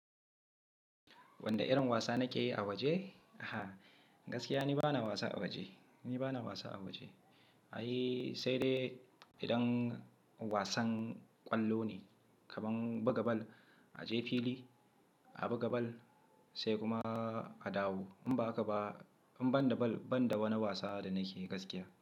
Wanne irin wasa nake yi a waje? Gaskiya ni bana wasa a waje, ni bana wasa a waje. Ai sai dai idan wasan ƙwallo ne, kaman buga bal, a je fili a buga bal sai kuma a dawo. In ba haka ba, in ban da bal, ban da wani wasa da nake gaskiya.